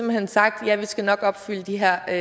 hen sagt ja vi skal nok opfylde de her